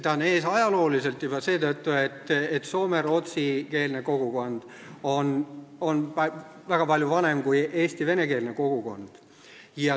Ta on ees ajalooliselt juba seetõttu, et Soome rootsikeelne kogukond on väga palju vanem kui Eesti venekeelne kogukond.